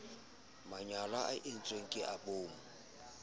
manyala a entsweng ka boomo